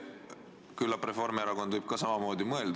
Küllap Reformierakond võib ka samamoodi mõelda.